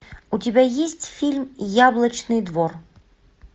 у тебя есть фильм яблочный двор